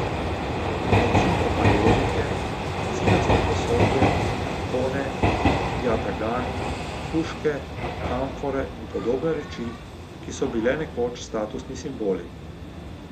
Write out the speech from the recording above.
Recimo majolike, cinasto posodje, ikone, jatagani, puške, amfore in podobne reči, ki so bile nekoč statusni simboli.